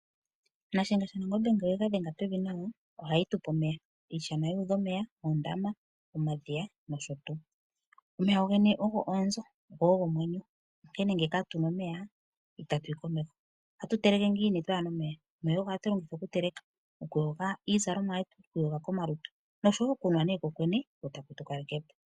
Nashiyenga shaNangombe ngele yega dhenge pevi ohayi tupe omeya iishana yuudha omeya, omadhiya, oondama nosho tuu. Omeya gowene ogo omwenyo go ogo onzo onkene ngele katuna omeya ita tuyi komeho ohatu teleke ngiini kaatuna omeya omeya ogo hatu lingitha okuteleka, okuyoga iizalomwa yetu, okwiiyoga komalutu ngaashi nee okunwa kokwene.